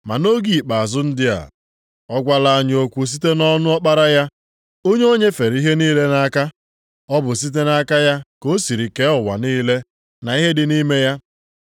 Ma nʼoge ikpeazụ ndị a, ọ gwala anyị okwu site nʼọnụ Ọkpara ya, onye o nyefere ihe niile nʼaka. Ọ bụ site nʼaka ya ka o siri kee ụwa niile na ihe dị nʼime ya.